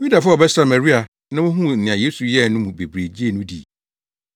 Yudafo a wɔbɛsraa Maria na wohuu nea Yesu yɛe no mu bebree gyee no dii.